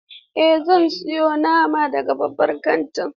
Eh, zan siyo nama daga babban kantin.